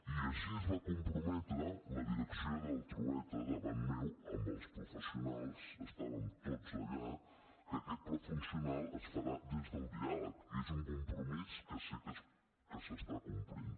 i així es va comprometre la direcció del trueta davant meu amb els professionals estàvem tots allà que aquest pla funcional es farà des del diàleg i és un compromís que sé que s’està complint